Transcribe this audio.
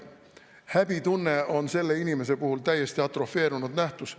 Häbitunne on selle inimese puhul täiesti atrofeerunud nähtus.